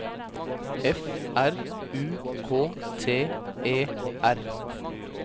F R U K T E R